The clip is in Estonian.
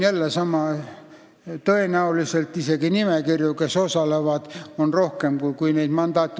Tõenäoliselt on nimekirju, mis osalevad, isegi rohkem kui mandaate.